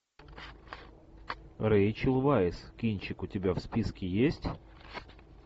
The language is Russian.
рэйчел вайс кинчик у тебя в списке есть